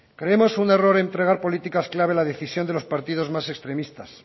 creemos un error entregar políticas clave en la decisión de los partidos más extremistas